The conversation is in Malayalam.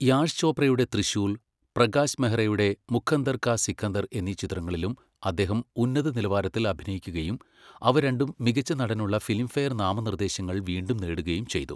യാഷ് ചോപ്രയുടെ ത്രിശൂൽ, പ്രകാശ് മെഹ്റയുടെ മുഖദ്ദർ കാ സിക്കന്തർ എന്നീ ചിത്രങ്ങളിലും അദ്ദേഹം ഉന്നതനിലവാരത്തിൽ അഭിനയിക്കുകയും അവ രണ്ടും മികച്ച നടനുള്ള ഫിലിംഫെയർ നാമനിർദ്ദേശങ്ങൾ വീണ്ടും നേടുകയും ചെയ്തു.